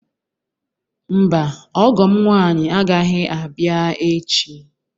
Mba, ọgọ m nwaanyị agaghị abịa echi.